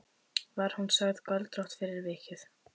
Var hún sögð göldrótt fyrir vikið.